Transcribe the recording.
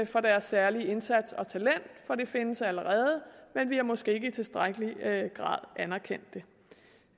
for deres særlige indsats og talent for det findes allerede men vi har måske ikke i tilstrækkelig grad anerkendt det